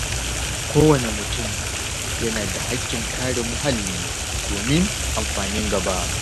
Kowane mutum yana da hakkin kare muhalli domin amfanin gaba.